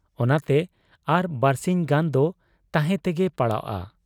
ᱚᱱᱟᱛᱮ ᱟᱨ ᱵᱟᱹᱨᱥᱤᱧ ᱜᱟᱱ ᱫᱚ ᱛᱟᱦᱮᱸ ᱛᱮᱜᱮ ᱯᱟᱲᱟᱣᱜ ᱟ ᱾